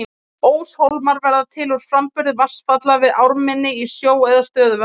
óshólmar verða til úr framburði vatnsfalla við ármynni í sjó eða stöðuvötnum